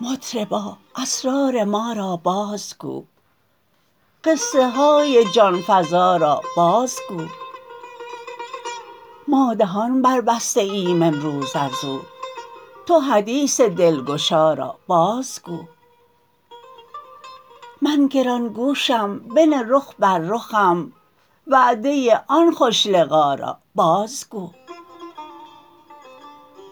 مطربا اسرار ما را بازگو قصه های جان فزا را بازگو ما دهان بربسته ایم امروز از او تو حدیث دلگشا را بازگو من گران گوشم بنه رخ بر رخم وعده آن خوش لقا را بازگو